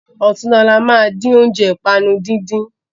Ọ̀túnla ní a máa dín óúnjẹ ìpanu dídín.